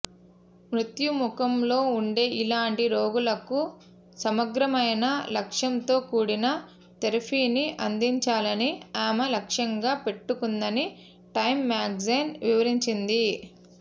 మృత్యుముఖంలో ఉండే ఇలాంటి రోగులకు సమగ్రమైన లక్ష్యంతోకూడిన థెరపీని అందించాలని ఆమె లక్ష్యంగా పెట్టుకుందని టైం మ్యాగజైన్ వివరించింది